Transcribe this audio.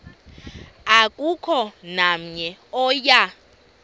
akukho namnye oya